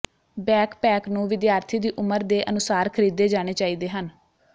backpack ਨੂੰ ਵਿਦਿਆਰਥੀ ਦੀ ਉਮਰ ਦੇ ਅਨੁਸਾਰ ਖਰੀਦੇ ਜਾਣੇ ਚਾਹੀਦੇ ਹਨ